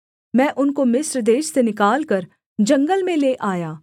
मैं उनको मिस्र देश से निकालकर जंगल में ले आया